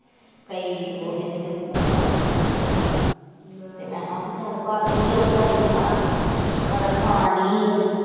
ਕਈ ਕੁੱਛ ਇਹਨੂੰ ਦਿਤਾ ਕੱਲ ਲੈ, ਮੈ ਹਾਂ ਭੀ ਚਲ ਕਰਦੀ ਆ ਵਿਚਾਰੀ ਤੇ ਹਨਾ ਖਾਣ ਦਈ ਆ।